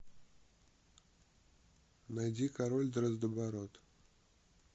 найди король дроздобород